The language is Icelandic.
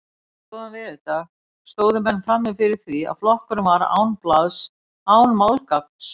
Einn góðan veðurdag stóðu menn frammi fyrir því að flokkurinn var án blaðs, án málgagns.